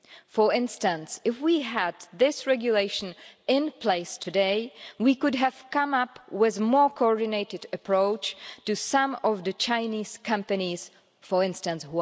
For instance, if we had this regulation in place today, we could have come up with a more coordinated approach to some of the Chinese companies, Huawei for instance.